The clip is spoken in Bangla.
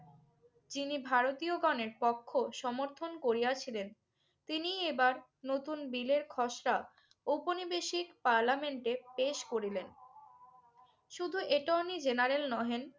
যিনি ভারতীয়গণের পক্ষ সমর্থন করিয়াছিলেন তিনিই এবার নতুন বিলের খসড়া ঔপনিবেশিক পার্লামেন্টে পেশ করিলেন। শুধু অ্যাটর্নী জেনারেল নহেন